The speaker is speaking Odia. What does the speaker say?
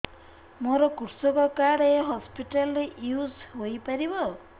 ମୋର କୃଷକ କାର୍ଡ ଏ ହସପିଟାଲ ରେ ୟୁଜ଼ ହୋଇପାରିବ